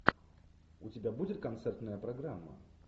у тебя будет концертная программа